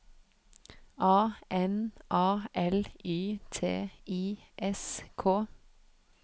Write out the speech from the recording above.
A N A L Y T I S K